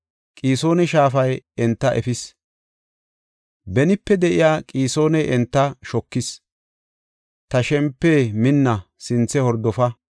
Qisoona shaafay enta efis; benipe de7iya Qisooni enta shokis. Ta shempe, minna; sinthe hordofa.